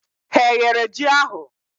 Ha eghere ji ahụ?